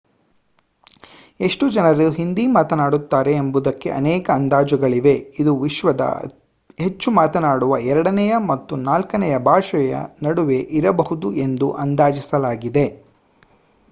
ಎಷ್ಟು ಜನರು ಹಿಂದಿ ಮಾತನಾಡುತ್ತಾರೆ ಎಂಬುದಕ್ಕೆ ಅನೇಕ ಅಂದಾಜುಗಳಿವೆ ಇದು ವಿಶ್ವದ ಹೆಚ್ಚು ಮಾತನಾಡುವ ಎರಡನೆಯ ಮತ್ತು ನಾಲ್ಕನೆಯ ಭಾಷೆಯ ನಡುವೆ ಇರಬಹುದು ಎಂದು ಅಂದಾಜಿಸಲಾಗಿದೆ